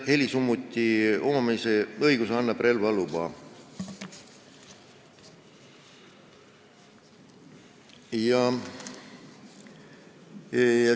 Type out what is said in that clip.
Helisummuti omandamise õiguse annab relvaluba.